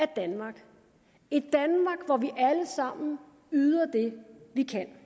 danmark hvor vi alle sammen yder det vi kan